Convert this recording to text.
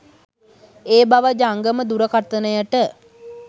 ඒ බව ජංගම දුරකථනයට